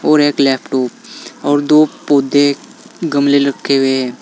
और एक लैपटॉप और दो पौधे गमले रखे हुए हैं।